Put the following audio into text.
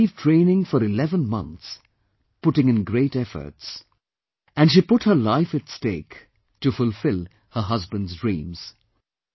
She received training for 11 months putting in great efforts and she put her life at stake to fulfill her husband's dreams